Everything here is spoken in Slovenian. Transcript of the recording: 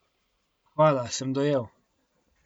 Hvala, sem dojel.